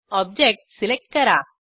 object select करा